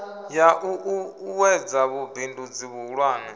ya u ṱuṱuwedza vhubindudzi vhuhulwane